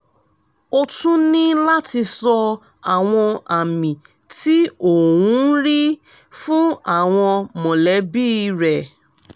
ó tún ní láti sọ àwọn àmì tí ò ń rí fún àwọn mọ̀lẹ́bí rẹ